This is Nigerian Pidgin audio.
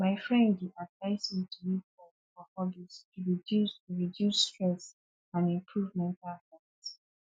my friend dey advise me to make time for hobbies to reduce to reduce stress and improve mental health